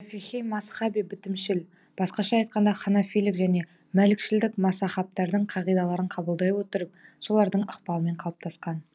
шафиғи мазһабы бітімшіл басқаша айтқанда ханафилік және мәлікшілдік мазаһабтардың қағидаларын қабылдай отырып солардың ықпалымен қалыптасқан